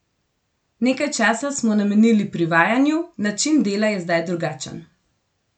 Nekaj časa smo namenili privajanju, način dela je zdaj drugačen.